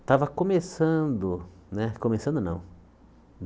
Estava começando né... começando, não.